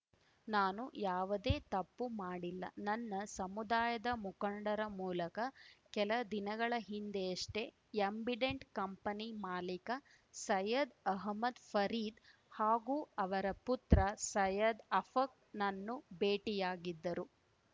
ನಾನು ಯಾವುದೇ ತಪ್ಪು ಮಾಡಿಲ್ಲ ನನ್ನ ಸಮುದಾಯದ ಮುಖಂಡರ ಮೂಲಕ ಕೆಲ ದಿನಗಳ ಹಿಂದೆಯಷ್ಟೆಆ್ಯಂಬಿಡೆಂಟ್‌ ಕಂಪನಿ ಮಾಲಿಕ ಸೈಯದ್‌ ಅಹಮದ್‌ ಫರೀದ್‌ ಹಾಗೂ ಅವರ ಪುತ್ರ ಸೈಯದ್‌ ಅಫಕ್‌ ನನ್ನು ಭೇಟಿಯಾಗಿದ್ದರು